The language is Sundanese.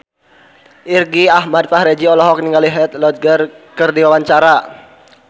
Irgi Ahmad Fahrezi olohok ningali Heath Ledger keur diwawancara